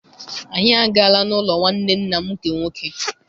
Anyị agaala n'ụlọ nwanne nna m nke nwoke.